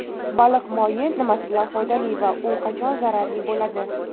Baliq moyi nimasi bilan foydali va u qachon zararli bo‘ladi?.